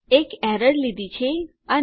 એક એરર લીધી છે અને